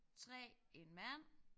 3 en mand